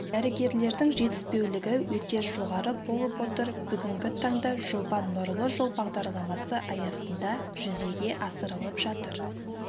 дәрігерлердің жетіспеулігі өте жоғары болып отыр бүгінгі таңда жоба нұрлы жол бағдарламасы аясында жүзеге асырылып жатыр